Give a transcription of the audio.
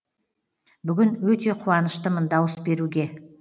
бүгін өте қуаныштымын дауыс беруге